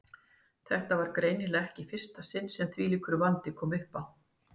Þetta var greinilega ekki í fyrsta sinn sem þvílíkur vandi kom uppá.